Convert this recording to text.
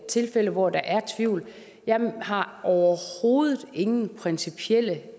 tilfælde hvor der er tvivl jeg har overhovedet ingen principielle